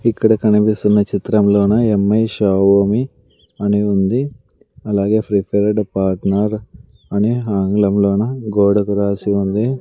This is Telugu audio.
ఇక్కడ కనిపిస్తున్న చిత్రంలోన ఎమ్ ఐ షావోమీ అని ఉంది అలాగే ప్రిఫర్డ్ పార్ట్నర్ అని ఆంగ్లంలోనా గోడకు రాసి ఉంది.